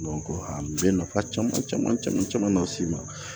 a bɛ nafa caman caman caman caman las'i ma